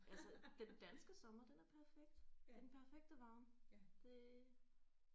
Altså den danske sommer den er perfekt. Den perfekte varme det